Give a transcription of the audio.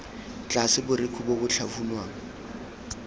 tlase borekhu bo bo tlhafunwang